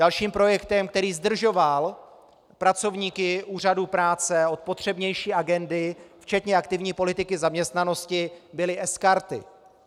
Dalším projektem, který zdržoval pracovníky úřadů práce od potřebnější agendy, včetně aktivní politiky zaměstnanosti, byly sKarty.